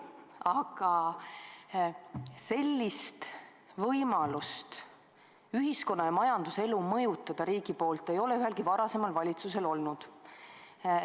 Aga sellist võimalust ühiskonna ja majanduse elu riigi poolt mõjutada ei ole ühelgi varasemal valitsusel olnud.